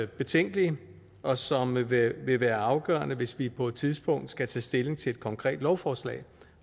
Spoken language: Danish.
betænkelige og som vil være vil være afgørende hvis vi på et tidspunkt skal tage stilling til et konkret lovforslag